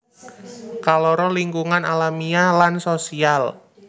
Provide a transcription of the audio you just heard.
Kaloro lingkungan alamiah lan sosial